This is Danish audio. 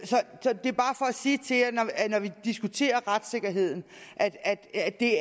sige når vi diskuterer retssikkerheden at at det